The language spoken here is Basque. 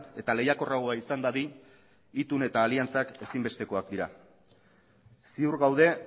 eta lehiakorragoa izan dadin itun eta aliantzak ezinbestekoak dira ziur gaude